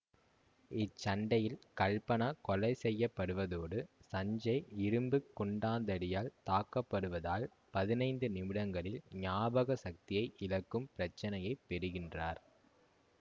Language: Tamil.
இச்சண்டையில் கல்பனா கொலை செய்யபடுவதோடு சஞ்சேய் இரும்பு குண்டாந்தடியால் தாக்கப் படுவதால் பதினைந்து நிமிடங்களில் ஞாபக சக்தியை இழக்கும் பிரச்சினையைப் பெறுகின்றார்